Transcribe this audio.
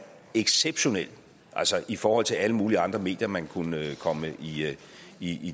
exceptionel altså i forhold til alle mulige andre medier man kunne komme i